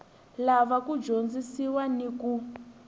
lava ku dyondzisiwa ni ku